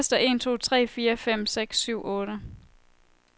Tester en to tre fire fem seks syv otte.